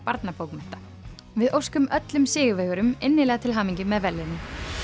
barnabókmennta við óskum öllum sigurvegurum til hamingju með verðlaunin